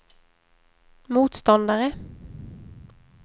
motståndare